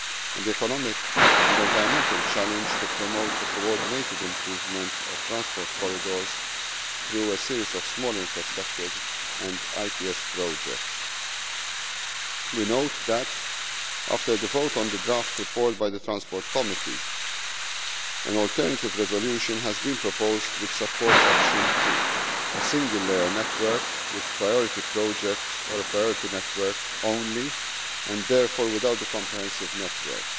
and the economic and environmental challenge to promote a coordinated improvement of transport corridors through a series of small infrastructures and ITS projects. We note that, after the vote on the draft report by the Transport Committee, an alternative resolution has been proposed which supports option two, a single layer network with priority projects or a priority network only, and therefore without a comprehensive network.